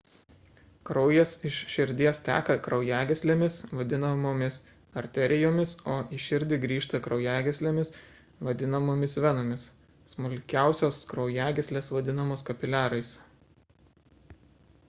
kraujas iš širdies teka kraujagyslėmis vadinamomis arterijomis o į širdį grįžta kraujagyslėmis vadinamomis venomis smulkiausios kraujagyslės vadinamos kapiliarais